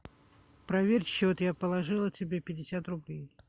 проверь счет я положила тебе пятьдесят рублей